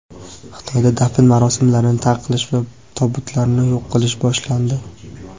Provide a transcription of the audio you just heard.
Xitoyda dafn marosimlarini taqiqlash va tobutlarni yo‘q qilish boshlandi.